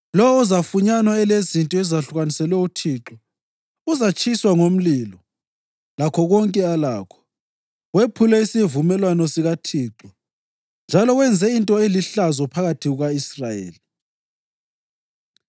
Lowo ozafunyanwa elezinto ezahlukaniselwe uThixo uzatshiswa ngomlilo, lakho konke alakho. Wephule isivumelwano sikaThixo njalo wenze into elihlazo phakathi kuka-Israyeli.’ ”